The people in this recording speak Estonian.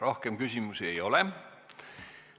Rohkem küsimusi ei ole.